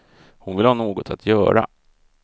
Hon vill ha något att göra.